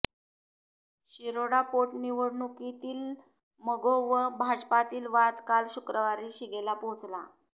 शिरोडा पोटनिवडणुकीतील मगो व भाजपातील वाद काल शुक्रवारी शिगेला पोहोचला